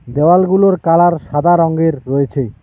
দেয়ালগুলোর colour সাদা রঙ্গের রয়েছে।